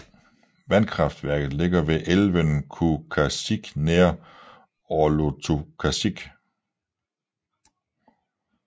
Vandkraftværket ligger ved elven Kuukasik nær Qorlortukasik